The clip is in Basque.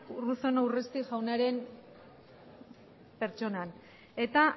urruzuno urresti jaunaren pertsonan eta